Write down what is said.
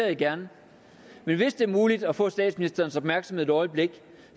jeg gerne men hvis det er muligt at få statsministerens opmærksomhed et øjeblik